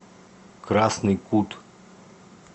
красный кут